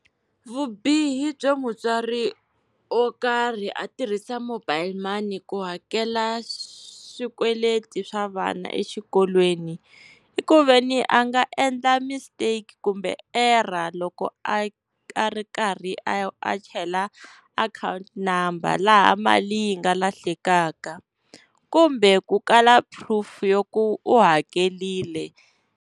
Vubihi byo mutswari wo karhi a tirhisa mobile money ku hakela swikweleti swa vana exikolweni, i ku veni a nga endla mistake kumbe error loko a a ri karhi a a chela akhawunti number, laha mali yi nga lahlekaka. Kumbe ku kala proof ya ku u hakerile.